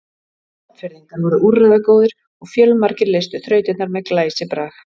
Vopnfirðingar voru úrræðagóðir og fjölmargir leystu þrautirnar með glæsibrag.